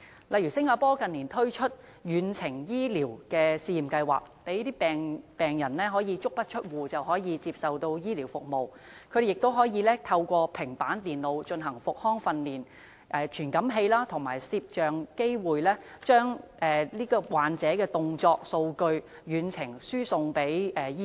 例如新加坡近年推出遠程醫療試驗計劃，讓病人足不出戶也可以接受醫療服務，同時透過平板電腦進行復康訓練，以傳感器和攝影機把患者的動作數據遠程輸送給醫生。